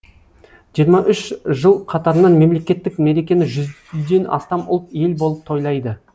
жиырма үш жыл қатарынан мемлекеттік мерекені жүзден астам ұлт ел болып тойлайды